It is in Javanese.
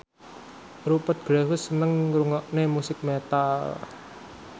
Rupert Graves seneng ngrungokne musik metal